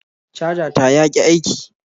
Caja ta yaki aiki